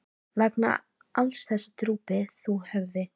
Vegna alls þessa drúpir þú höfði.